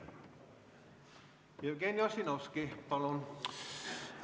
Jevgeni Ossinovski, palun!